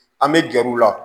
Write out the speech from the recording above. An bɛ gɛrɛ u la